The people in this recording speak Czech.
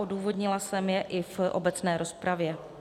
Odůvodnila jsem je i v obecné rozpravě.